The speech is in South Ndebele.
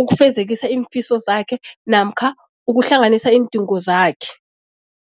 ukufezekisa iimfiso zakhe namkha ukuhlanganisa iindingo zakhe.